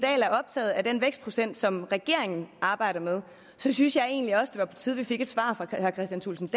er optaget af den vækstprocent som regeringen arbejder med så synes jeg egentlig også det var på tide at vi fik et svar fra herre kristian thulesen